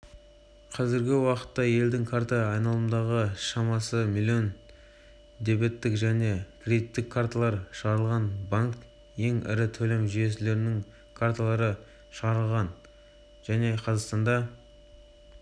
қазіргі уақытта елдің карта айналымындағы шамасы млн дебеттік және кредиттік карталар шығарылған банк ең ірі төлем жүйелерінің карталарын шығарады және қазақстанда